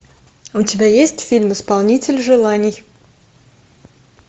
у тебя есть фильм исполнитель желаний